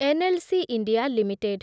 NLC India limited